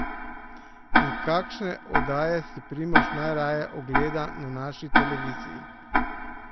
In kakšne oddaje si Primož najraje ogleda na naši televiziji?